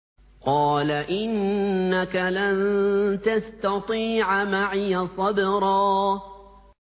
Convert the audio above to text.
قَالَ إِنَّكَ لَن تَسْتَطِيعَ مَعِيَ صَبْرًا